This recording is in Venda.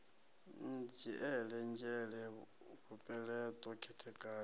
ni dzhiele nzhele mupeleṱo khethekanyo